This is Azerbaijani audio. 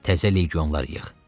Təzə legionlar yığ.